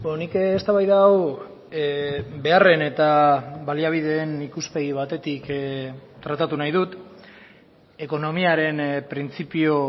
nik eztabaida hau beharren eta baliabideen ikuspegi batetik tratatu nahi dut ekonomiaren printzipio